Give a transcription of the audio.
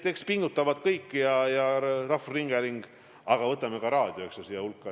Pingutavad kõik, kogu rahvusringhääling – võtame ka raadio siia hulka.